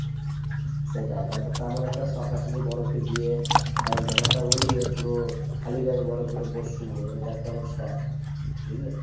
সেটাই তারপর তো আমার একটা শখ আছে যে বরফে গিয়ে জামাটা ওলিয়ে পুরো খালি গায়ে বরফের উপর শুভ এটা একটা আমার শখ বুঝলে